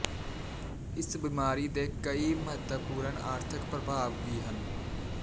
ਇਸ ਬਿਮਾਰੀ ਦੇ ਕਈ ਮਹੱਤਵਪੂਰਨ ਆਰਥਕ ਪ੍ਰਭਾਵ ਵੀ ਹਨ